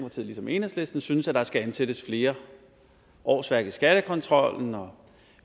ligesom enhedslisten synes at der skal ansættes flere årsværk i skattekontrollen og